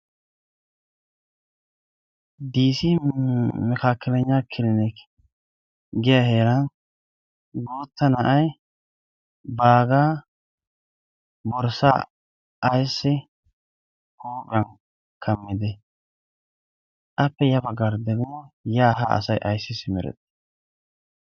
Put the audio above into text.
Disi makaakalannygna kilineek giya heera gootta na'aay baagaa borssaa ayssi huuphiyan kammide? Appe ya baggarddeguu yaaha asay ayssi simirettii?